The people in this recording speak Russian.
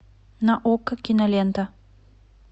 на окко кинолента